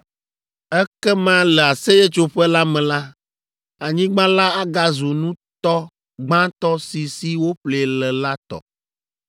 Ekema le Aseyetsoƒe la me la, anyigba la agazu nutɔ gbãtɔ si si wòƒlee le la tɔ.